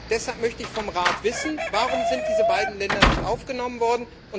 Deshalb möchte ich vom Rat wissen Warum sind diese beiden Länder nicht aufgenommen worden?